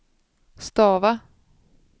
stava